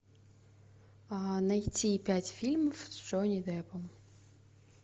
найти пять фильмов с джонни деппом